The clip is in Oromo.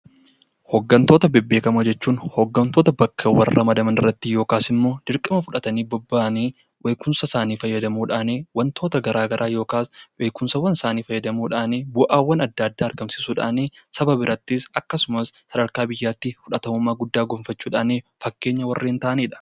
Hooggantoota beekamoo jechuun hooggantoota bakka ramadamanitti yookaan dirqama fudhatanii bahan beekumsa isaanii fayyadamuudhaan wantoota garaagaraa yookiin saba biratti yookaan biyyatti fudhatama guddaa qaban jechuudha